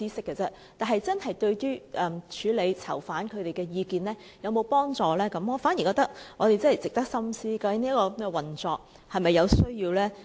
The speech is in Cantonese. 至於是否真正有助處理囚犯的意見，我反而覺得值得我們深思，究竟這種運作是否仍有需要？